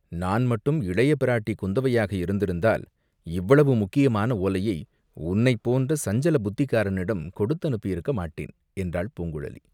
"நான் மட்டும் இளைய பிராட்டி குந்தவையாக இருந்திருந்தால் இவ்வளவு முக்கியமான ஓலையை உன்னைப் போன்ற சஞ்சல புத்திக்காரனிடம் கொடுத்து அனுப்பியிருக்க மாட்டேன்!" என்றாள் பூங்குழலி.